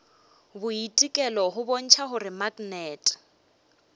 boitekelo go bontšha gore maknete